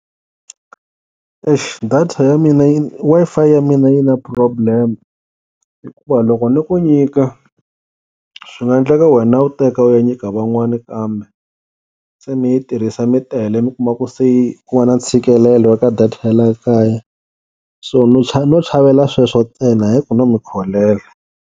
Eish data ya mina yi Wi-Fi ya mina yi na problem, hikuva loko ni ku nyika swi nga endleka wena u teka u ya nyika van'wani kambe se mi yi tirhisa mi tele mi kuma ku se yi ku va na ntshikelelo ka data ya la kaya, so no chavela sweswo ntsena hayi ku no mi kholela.